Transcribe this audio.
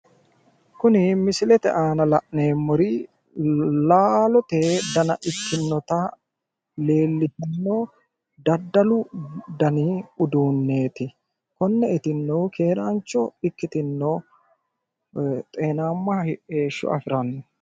Kuni misilete aana la'neemmori laalote dana ikkinnota leellishshanno daddalu dani uduunneeti. Konne uduunne keeraancho ikkitinno xeenaamma heeshsho afiranno.